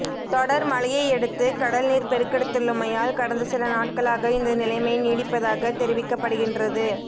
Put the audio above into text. தொடர் மழையையடுத்து கடல் நீர் பெருக்கெடுத்துள்ளமையால் கடந்த சில நாட்களாக இந்த நிலைமை நீடிப்பதாகத் தெரிவிக்கப்படுகின்றது